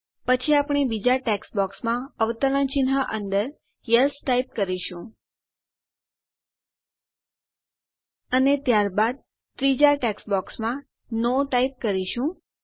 પછી આપણે બીજાં ટેક્સ્ટ બોક્સમાં અવતરણ ચિન્હ અંદર યેસ ટાઈપ કરીશું અને ત્યારબાદ ત્રીજાં ટેક્સ્ટ બોક્સમાં નો ટાઈપ કરીશું